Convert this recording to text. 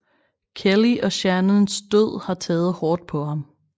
Kelly og Shannons død har taget hårdt på ham